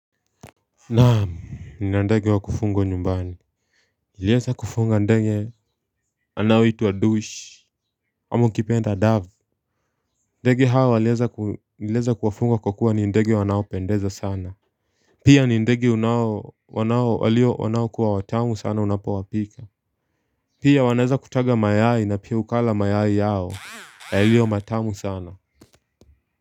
Naam nina ndege wa kufungwa nyumbani nilieza kufunga ndege anayoitwa Ndush ama ukipenda dove ndege hawa niliweza kuwafunga kwa kuwa ni ndege wanaopendeza sana Pia ni ndege wanaokuwa watamu sana unapowapika Pia wanaweza kutaga mayai na pia ukala mayai yao yaliyo matamu sana.